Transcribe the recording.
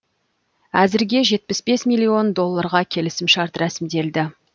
әзірге жетпіс бес миллион долларға келісімшарт рәсімделді